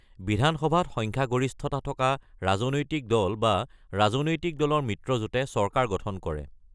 বিধানসভাত সংখ্যাগৰিষ্ঠতা থকা ৰাজনৈতিক দল বা ৰাজনৈতিক দলৰ মিত্ৰজোঁটে চৰকাৰ গঠন কৰে।